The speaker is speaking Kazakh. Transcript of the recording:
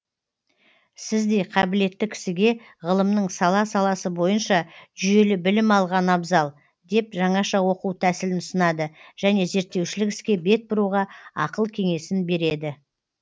сіздей қабілетті кісіге ғылымның сала саласы бойынша жүйелі білім алған абзал деп жаңаша оқу тәсілін ұсынады және зерттеушілік іске бет бұруға ақыл кеңесін береді